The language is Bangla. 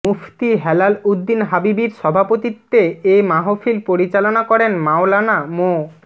মুফতি হেলাল উদ্দীন হাবিবীর সভাপতিত্বে এ মাহফিল পরিচালনা করেন মাওলানা মো